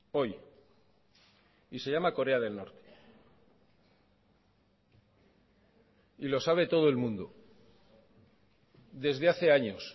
hoy y se llama corea del norte y lo sabe todo el mundo desde hace años